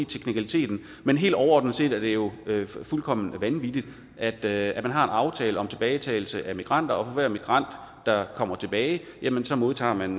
teknikaliteten i men helt overordnet set er det jo fuldkommen vanvittigt at at man har en aftale om tilbagetagelse af migranter og for hver migrant der kommer tilbage modtager man